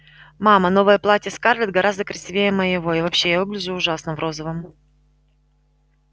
мама новое платье скарлетт гораздо красивее моего и вообще я выгляжу ужасно в розовом